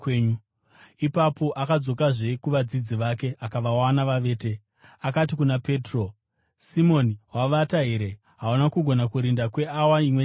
Ipapo akadzokazve kuvadzidzi vake akavawana vavete. Akati kuna Petro, “Simoni, wavata here? Hauna kugona kurinda kweawa imwe chete here?